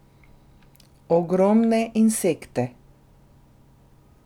Ogromne insekte.